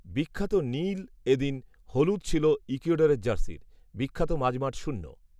বিখ্যাত নীল এ দিন হলুদ ছিল ইকুয়েডরের জার্সির, বিখ্যাত মাঝমাঠ শূন্য